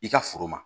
I ka foro ma